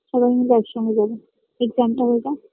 সবায় মিলে এক সঙ্গে যাবো exam টা হয়ে যাক